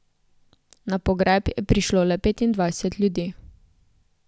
Na pogreb je prišlo le petindvajset ljudi.